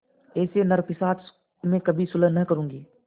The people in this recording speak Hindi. ऐसे नरपिशाच से मैं कभी सुलह न करुँगी